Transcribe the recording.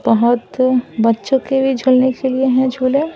बहुत बच्चों के भी झूलने के लिए हैं झूले।